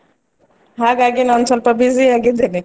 ಹಾಗಾಗಿ ನಾ ಒಂದು ಸ್ವಲ್ಪ busy ಆಗಿದ್ದೇನೆ.